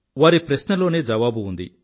వారి ప్రశ్నలోనే జవాబు ఉంది